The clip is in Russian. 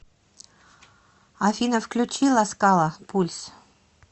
афина включи ласкала пульс